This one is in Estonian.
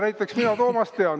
Näiteks mina Toomast tean.